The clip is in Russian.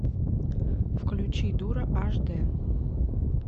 включи дура аш дэ